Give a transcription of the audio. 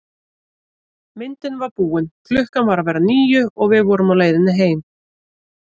Myndin var búin, klukkan var að verða níu og við vorum á leiðinni heim.